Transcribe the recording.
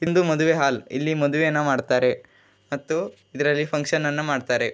ಇಂದು ಮದುವೆ ಹಾಲ್ ಇಲ್ಲಿ ಮದುವೆಯನ್ನು ಮಾಡ್ತಾರೆ ಮತ್ತು ಇದ್ರಲ್ಲಿ ಫಂಕ್ಷನ್ನನ್ನು ಮಾಡ್ತಾರೆ.